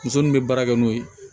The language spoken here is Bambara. Muso min bɛ baara kɛ n'o ye